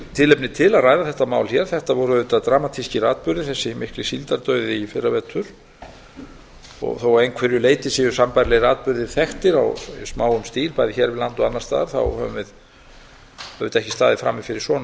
tilefni til að ræða þetta mál hér þetta voru auðvitað dramatískir atburðir þessi mikli síldardauði í fyrravetur þó að einhverju leyti séu sambærilegir atburðir þekktir í smáum stíl bæði hér við land og annars staðar höfum við auðvitað ekki staðið frammi fyrir svona